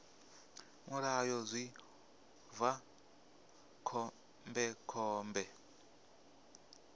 mulayo zwi ḓo vha khombekhombe